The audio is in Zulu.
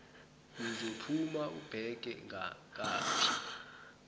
uzophuma ubheke ngaphi